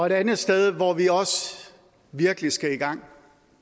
et andet sted hvor vi også virkelig skal i gang